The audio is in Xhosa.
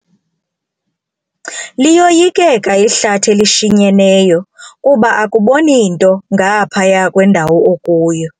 Liyoyikeka ihlathi elishinyeneyo kuba akuboni nto ngaphaya kwendawo okuyo.